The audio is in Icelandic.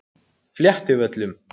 Fléttuvöllum